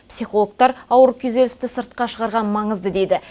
психологтар ауыр күйзелісті сыртқа шығарған маңызды дейді